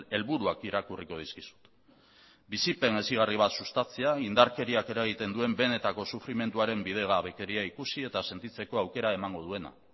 helburuak irakurriko dizkizut bizipen hezigarri bat sustatzea indarkeriak eragiten duen benetako sufrimenduaren bidegabekeria ikusi eta sentitzeko aukera emango duena